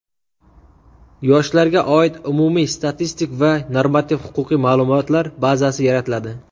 yoshlarga oid umumiy statistik va normativ-huquqiy ma’lumotlar bazasi yaratiladi.